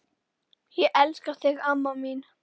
Ég elska þig, amma mín.